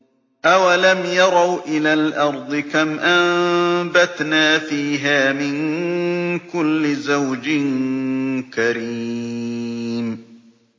أَوَلَمْ يَرَوْا إِلَى الْأَرْضِ كَمْ أَنبَتْنَا فِيهَا مِن كُلِّ زَوْجٍ كَرِيمٍ